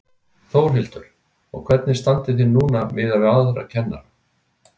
Þórhildur: Og hvernig standið þið núna miðað við aðra kennara?